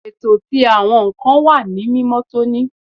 Eto ti awọn nkan wa ni mimotoni